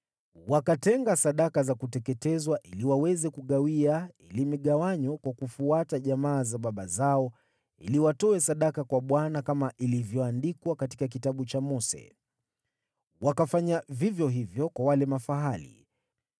Wakatenga sadaka za kuteketezwa ili waweze kugawia ili migawanyo kwa kufuata jamaa za baba zao ili watoe sadaka kwa Bwana kama ilivyoandikwa katika Kitabu cha Mose. Wakafanya vivyo hivyo kwa wale mafahali.